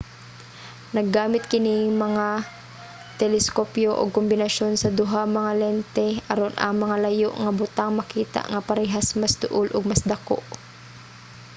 naggamit kini nga mga teleskopyo og kombinasyon sa duha nga lente aron ang mga layo nga butang makita nga parehas mas duol ug mas dako